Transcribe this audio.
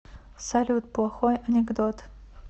салют плохой анекдот